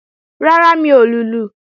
Rárá, mi ò lùlù